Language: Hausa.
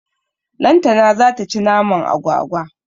Lantana zata ci naman agwagwa.